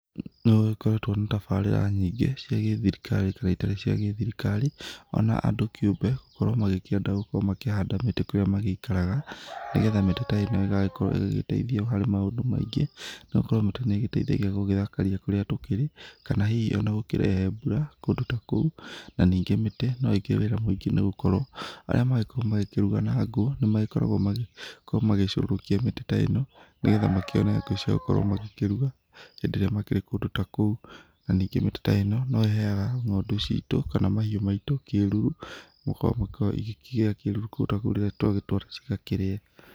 Nĩ gũgĩkoretwo na tabarĩra nyingĩ cia gĩthirikari kana itarĩ ci gĩthirikari ona andũ kĩũmbe gũkorwo magĩkĩenda gũkorwo makĩhanda mĩtĩ kũrĩa magĩikaraga nĩgetha mĩtĩ ta ĩno ĩgagĩkorwo ĩgĩgĩteithia harĩ maũndũ maingĩ nĩgũkorwo mĩtĩ nĩ ĩgĩteithagia gũgĩthakaria kũrĩa tũkĩrĩ kana hihi ona gũkĩrehe mbũra kũndũ ta kũu. Na ningĩ mĩtĩ no ĩkĩrĩ wĩra mũIngĩ nĩ gũkorwo arĩa magĩkoragwo magĩkĩruga na ngũ nĩ magĩkoragwo magĩcũhũrũkia mĩtĩ ta ĩno nĩgetha makĩone ngũ cia gũkorwo magĩkĩruga hĩndĩ ĩrĩa makĩrĩ kũndũ ta kũu. Na ningĩ mĩtĩ ta ĩno no ĩheyaga ngo'ndu citũ kana mahiũ maitũ kĩruru kũu rĩrĩa twa gĩtwara cĩgakĩrĩe.